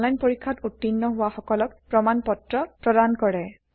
এটা অনলাইন পৰীক্ষাত উত্তীৰ্ণ হোৱা সকলক প্ৰমাণ পত্ৰ প্ৰদান কৰে